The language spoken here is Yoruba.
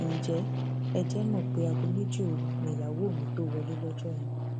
ǹjẹ ẹ jẹ mọ pé aago méjì òru nìyàwó mi tóó wọlé lọjọ yẹn